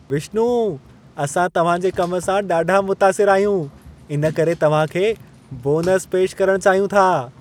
विश्नु, असां तव्हां जे कम सां ॾाढा मुतासिर आहियूं, इनकरे तव्हां खे बोनस पेश करण चाहियूं था।